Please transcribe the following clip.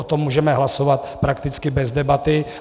O tom můžeme hlasovat prakticky bez debaty.